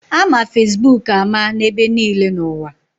Ama Fesbuk ama n'ebe niile n'ụwa.